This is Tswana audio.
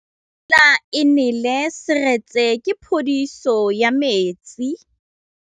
Fa pula e nelê serêtsê ke phêdisô ya metsi.